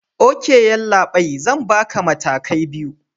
Ok yallabai, Zan Barka matakai biyu